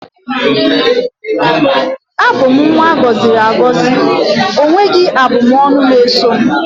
abum nwa agoziri agozi, onweghi abu m ọnụ na eso m